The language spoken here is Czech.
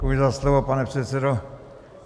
Děkuji za slovo, pane předsedo.